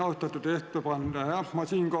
Austatud ettekandja!